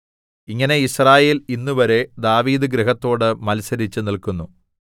ഇങ്ങനെ യിസ്രായേൽ ഇന്നുവരെ ദാവീദ് ഗൃഹത്തോട് മത്സരിച്ച് നില്ക്കുന്നു